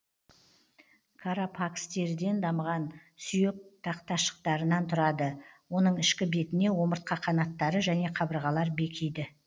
карапакс теріден дамыған сүйек тақташықтарынан тұрады оның ішкі бетіне омыртқа қанаттары және қабырғалар бекиді